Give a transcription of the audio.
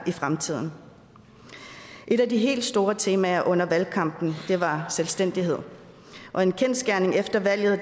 i fremtiden et af de helt store temaer under valgkampen var selvstændighed og en kendsgerning efter valget